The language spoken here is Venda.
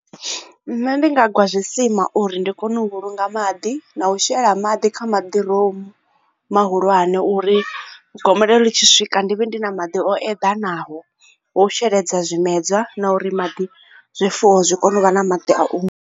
Nṋe ndi nga gwa zwi sima uri ndi kone u vhulunga maḓi na u shela maḓi kha maḓiromu mahulwane uri gomelelo ḽi tshi swika ndivhe ndi na maḓi o eḓanaho ho sheledza zwimedzwa na uri maḓi zwifuwo zwi kone u vha na maḓi a.